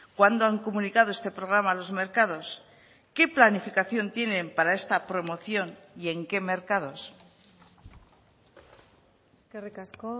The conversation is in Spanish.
cuándo han comunicado este programa a los mercados qué planificación tienen para esta promoción y en qué mercados eskerrik asko